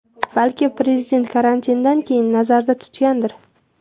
Balki prezident karantindan keyinni nazarda tutgandir?